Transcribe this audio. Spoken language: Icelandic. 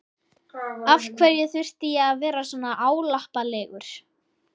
Af hverju þurfti ég að vera svona álappalegur?